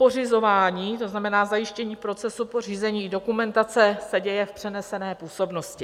Pořizování, to znamená zajištění procesu pořízení dokumentace, se děje v přenesené působnosti.